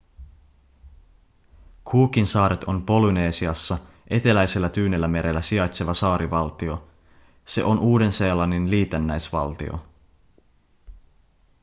cookinsaaret on polynesiassa eteläisellä tyynellämerellä sijaitseva saarivaltio se on uuden-seelannin liitännäisvaltio